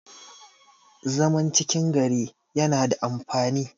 zaman cikin gari yana da amfani